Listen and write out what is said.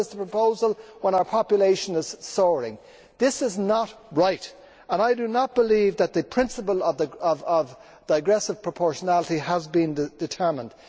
11. That is the proposal when our population is soaring. This is not right and I do not believe that the principle of digressive proportionality has been determined.